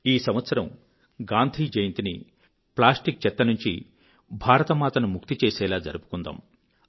ఈ సంవత్సరం గాంధీ జయంతిని ప్లాస్టిక్ చెత్త నుంచి భారతమాతను ముక్తి చేసేలా జరుపుకుందాము